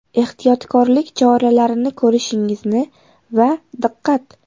Ehtiyotkorlik choralarini ko‘rishingizni va ‘Diqqat!